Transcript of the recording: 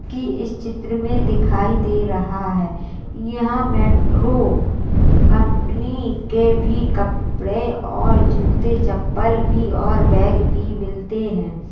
की इस चित्र में दिखाई दे रहा है यहाँ मेट्रो कंपनी के कपड़े और जूते चप्पल और बैग भी मिलते हैं।